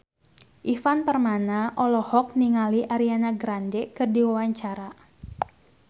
Ivan Permana olohok ningali Ariana Grande keur diwawancara